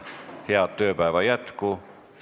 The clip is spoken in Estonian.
Head tööpäeva jätku!